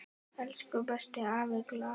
Elsku besti afi Glað.